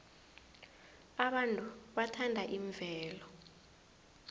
abantu bathanda imvelo